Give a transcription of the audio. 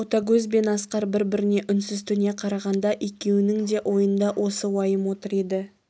ботагөз бен асқар бір-біріне үнсіз төне қарағанда екеуінің де ойында осы уайым отыр еді